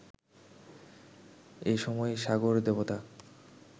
এসময় সাগরদেবতা